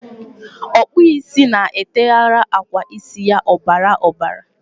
Okpu isi na-eteghara agwa isi ya obara obara.